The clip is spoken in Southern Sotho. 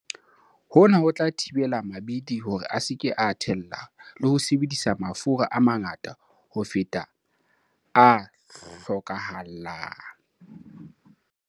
Hona ho tla thibela mabidi hore a se ke a thella le ho sebedisa mafura a mangata ho feta a hlokahalang.